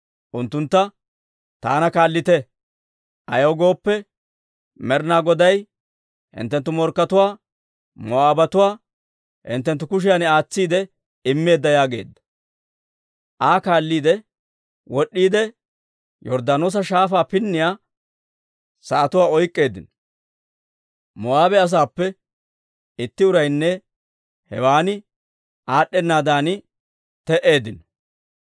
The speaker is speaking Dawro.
Unttuntta, «Taana kaallite; ayaw gooppe, Med'inaa Goday hinttenttu morkkatuwaa, Moo'aabatuwaa hinttenttu kushiyan aatsiide immeedda» yaageedda. Aa kaalliide wod'd'iide, Yorddaanoosa Shaafaa pinniyaa sa'atuwaa oyk'k'eeddino; Moo'aabe asaappe itti uraynne hewaana aad'd'enaaddan te"eeddino.